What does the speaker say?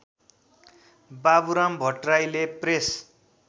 बाबुराम भट्टराईले प्रेस